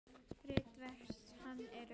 Ritverk hans eru